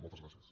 moltes gràcies